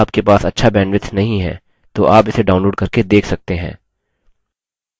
यदि आपके पास अच्छा bandwidth नहीं है तो आप इसे download करके देख सकते हैं